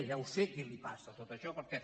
ja ho sé qui li passa tot això perquè